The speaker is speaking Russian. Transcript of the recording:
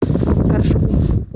торжку